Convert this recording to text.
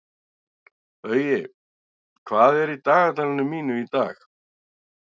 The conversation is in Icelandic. Baui, hvað er í dagatalinu mínu í dag?